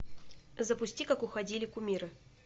запусти как уходили кумиры